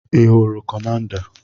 Ị hụrụ Kọmanda?